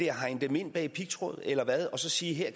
hegne dem ind bag pigtråd eller hvad og så sige her